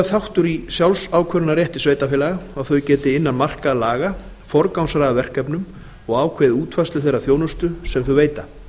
þáttur í sjálfsákvörðunarrétti sveitarfélaga að þau geti innan marka laga forgangsraðað verkefnum og ákveðið útfærslu þeirrar þjónustu sem þau veita